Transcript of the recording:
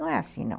Não é assim, não.